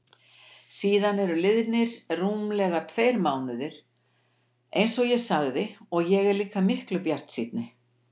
Síðan eru liðnir rúmlega tveir mánuðir einsog ég sagði og ég er líka miklu bjartsýnni.